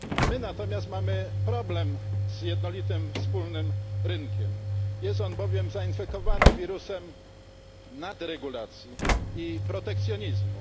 My natomiast mamy problem z jednolitym wspólnym rynkiem, jest on bowiem zainfekowany wirusem nadregulacji i protekcjonizmu.